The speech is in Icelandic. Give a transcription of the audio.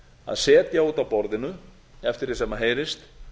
að setja út af borðinu eftir því sem heyrist